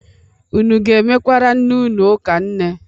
Unu ga-emekwara nne ụnụ ụka nne?